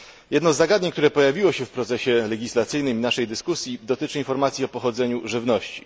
Jedno z zagadnień, które pojawiło się w procesie legislacyjnym i naszej dyskusji, dotyczy informacji o pochodzeniu żywności.